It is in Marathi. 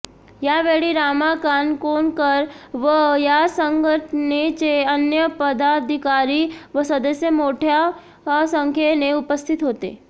यावेळी रामा काणकोणकर व या संघटनेचे अन्य पदाधिकारी व सदस्य मोठय़ा संख्येने उपस्थित होते